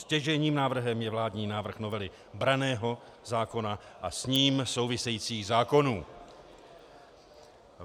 Stěžejním návrhem je vládní návrh novely branného zákona a s ním souvisejících zákonů.